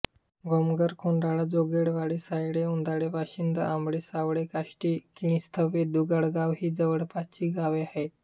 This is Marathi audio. गोमघर खोडाळा जोगळवाडी सायडे उधाळे वाशिंद आमाळे सावर्डे काष्टी किणीस्तेधुडगाव ही जवळपासची गावे आहेत